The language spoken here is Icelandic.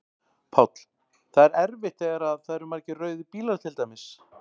Páll: Það er erfitt þegar að það eru margir rauðir bílar til dæmis?